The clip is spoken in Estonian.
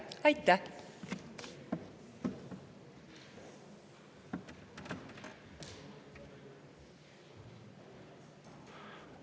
Aitäh!